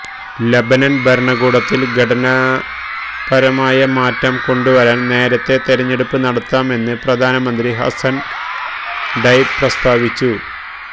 Lebanon ഭരണകൂടത്തിൽ ഘടനാപരമായ മാറ്റം കൊണ്ടുവരുവാൻ നേരത്തേ തെരഞ്ഞെടുപ്പ് നടത്താം എന്ന് പ്രധാനമന്ത്രി ഹസ്സൻ ഡൈബ് പ്രസ്താവിച്ചു